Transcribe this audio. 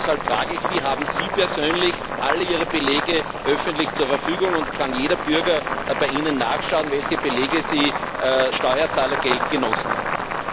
Deshalb frage ich Sie Haben Sie persönlich alle Ihre Belege öffentlich zur Verfügung, und kann jeder Bürger bei Ihnen nachschauen, welche Belege Sie mit Steuerzahlergeld genossen haben?